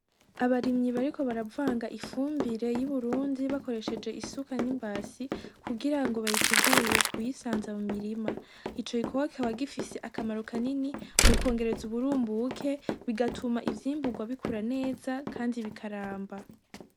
Abarimyi bariko baravanga ifumbire y'iburundi bakoresheje isuka n'imbasi kugira ngo bayitegure kuyisanza mu mirima, ico gikorwa kikaba gifise akamaro kanini mu kwongereza uburumbuke bigatuma ivyimburwa bikura neza, kandi bikaramba.